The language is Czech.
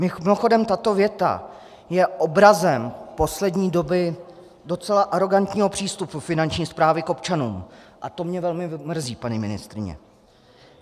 Mimochodem, tato věta je obrazem poslední doby docela arogantního přístupu Finanční správy k občanům a to mě velmi mrzí, paní ministryně.